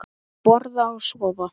Borða og sofa.